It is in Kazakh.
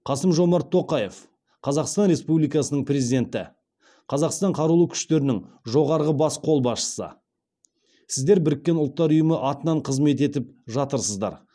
қасым жомарт тоқаев қазақстан республикасының президенті қазақстан қарулы күштерінің жоғарғы бас қолбасшысы сіздер біріккен ұлттар ұйымы атынан қызмет етіп жатырсыздар